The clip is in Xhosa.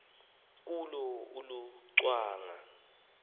kuwo uluca ngwana